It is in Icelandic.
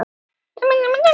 Hættumerkin fyrir hendi